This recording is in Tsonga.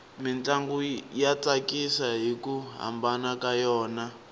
mintlangu ya tsakisa hiku hambana ka yona